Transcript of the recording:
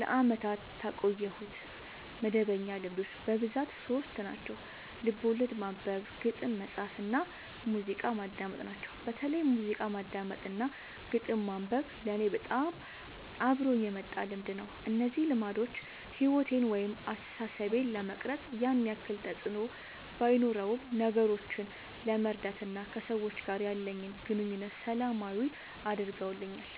ለአመታት ያቆየሁት መደበኛ ልማዶች በብዛት ሶስት ናቸው። ልቦለድ ማንበብ፣ ግጥም መፃፍ እና ሙዚቃ ማዳመጥ ናቸው። በተለይ ሙዚቃ ማዳመጥ እና ግጥም ማንበብ ለኔ በጣም አብሮኝ የመጣ ልምድ ነው። እነዚህ ልማዶች ሕይወቴን ወይም አስተሳሰቤን ለመቅረጽ ያን ያክል ተፅዕኖ ባኖረውም ነገሮችን ለመረዳት እና ከሰዎች ጋር ያለኝን ግንኙነት ሰላማዊ አድርገውልኛል